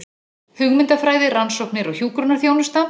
Hugmyndafræði, rannsóknir og hjúkrunarþjónusta.